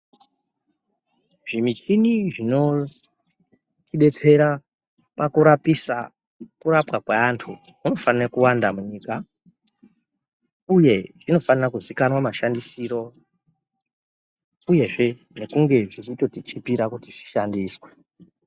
Zvimichini zvinotibetsera pakurapisa kurapwa kweantu zvinofana kuwanda munyika uye zvinofana kuzikanwa mashandisirwo uyezve ngekunge zveitotichipira kuti zvishandiswe .